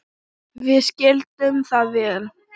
Við skildum það vel.